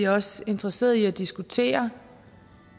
også interesseret i at diskutere